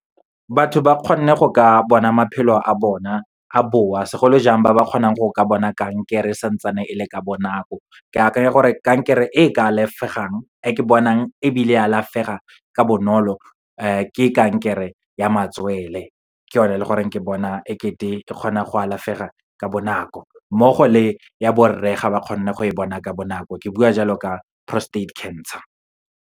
Batho ba kgonne go ka bona maphelo a bona a boa, segolojang ba ba kgonang go ka bona kankere santsane e le ka bonako. Ke akanya gore kankere e ka alafegang, e ke bonang ebile alafega ka bonolo ke kankere ya matswele, ke yone e leng gore ke bona ekete e kgona go alafega ka bonako. Mmogo le ya borre, ga ba kgonne go e bona ka bonako, ke bua jalo ka prostate cancer.